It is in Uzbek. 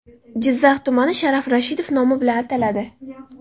Jizzax tumani Sharof Rashidov nomi bilan ataladi.